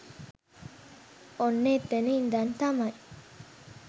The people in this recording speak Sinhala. ඔන්න එතන ඉඳන් තමයි